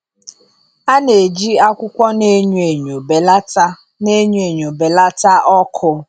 A na-eji akwụkwọ na-enyo enyo belata na-enyo enyo belata ọkụ.